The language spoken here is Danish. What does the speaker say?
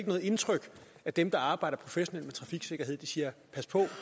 noget indtryk at dem der arbejder professionelt med trafiksikkerhed siger pas på